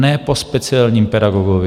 Ne po speciálním pedagogovi.